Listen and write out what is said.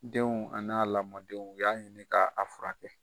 Denw an n'a lamɔdenw, u y'a ɲini k'a a furakɛ kɛ.